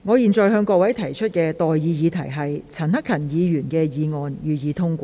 我現在向各位提出的待議議題是：陳克勤議員動議的議案，予以通過。